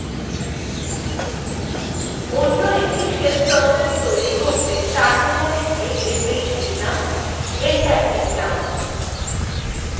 অন্য একটি shell process সৃষ্টি করতে terminal গিয়ে sh লিখলাম এবং enter টিপলাম